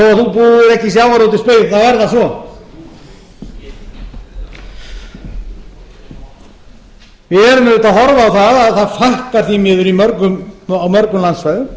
þú búir ekki við sjávar þá er það svo við erum auðvitað að horfa á að það fækkar því miður á mörgum landsvæðum